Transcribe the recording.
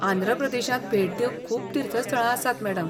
आंध्र प्रदेशांत भेट दिवंक खूब तीर्थस्थळां आसात, मॅडम.